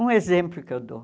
Um exemplo que eu dou.